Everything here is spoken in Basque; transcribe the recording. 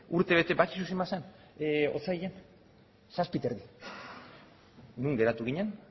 urtebete badakizu zenbat zen otsailean zazpi koma bost non geratu ginen